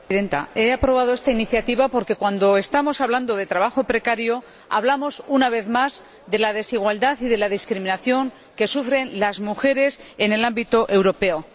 Señora Presidenta, he aprobado esta iniciativa porque cuando estamos hablando de trabajo precario, hablamos, una vez más, de la desigualdad y de la discriminación que sufren las mujeres en el ámbito europeo.